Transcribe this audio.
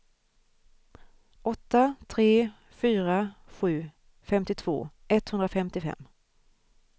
åtta tre fyra sju femtiotvå etthundrafemtiofem